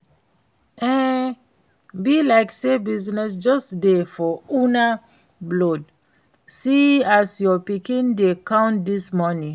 E be like say business just dey for una blood, see as your pikin dey count dis money